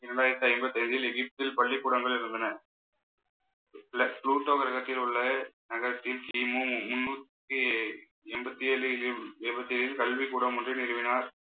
இரண்டாயிரத்தி ஐம்பத்தி ஏழில் எகிப்தில் பள்ளிக்கூடங்கள் இருந்தன. கிரகத்தில் உள்ள நகரத்தில் கிமு முன்னூத்தி எண்பத்தி ஏழில் கல்விக்கூடம் ஒன்றை நிறுவினார்